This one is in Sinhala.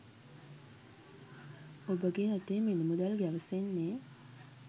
ඔබගේ අතේ මිල මුදල් ගැවසෙන්නේ